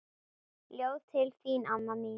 Ljóð til þín amma mín.